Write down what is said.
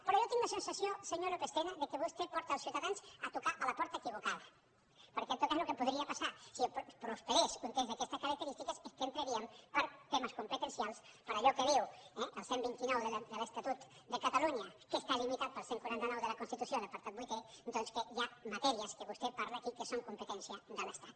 però jo tinc la sensació senyor lópez tena que vostè porta els ciutadans a trucar a la porta equivocada perquè en tot cas el que podria passar si prosperés un text d’aquestes característiques és que entraríem per temes competencials per allò que diu el cent i vint nou de l’estatut de catalunya que està limitat pel cent i quaranta nou de la constitució en l’apartat vuitè doncs que hi ha matèries que vostè parla aquí que són competència de l’estat